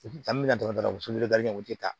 An bɛna dɔrɔn u u tɛ taa